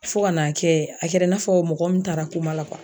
Fo ka n'a kɛ, a kɛra i n'a fɔ mɔgɔ min taara la